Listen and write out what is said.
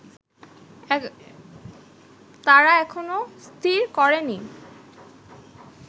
তারা এখনো স্থির করেনি